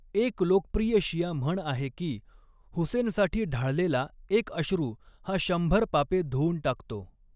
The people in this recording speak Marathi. एक लोकप्रिय शिया म्हण आहे की, 'हुसेनसाठी ढाळलेला एक अश्रू हा शंभर पापे धुऊन टाकतो'.